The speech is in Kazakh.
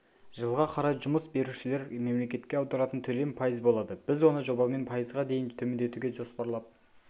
жылға қарай жұмыс берушілер мемлекетке аударатын төлем пайыз болады біз оны жобамен пайызға дейін төмендетуді жоспарлап